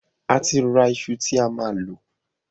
Àti ra ìṣù tí a máa lò